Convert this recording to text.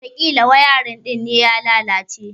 Watakila wayarin din ne ya lalace.